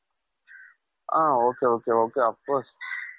ಹ ok ok ok of course